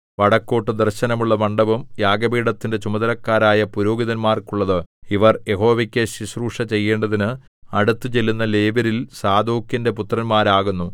വടക്കോട്ടു ദർശനമുള്ള മണ്ഡപം യാഗപീഠത്തിന്റെ ചുമതലക്കാരായ പുരോഹിതന്മാർക്കുള്ളത് ഇവർ യഹോവയ്ക്കു ശുശ്രൂഷ ചെയ്യേണ്ടതിന് അടുത്തുചെല്ലുന്ന ലേവ്യരിൽ സാദോക്കിന്റെ പുത്രന്മാരാകുന്നു